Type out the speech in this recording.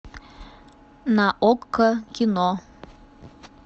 на окко кино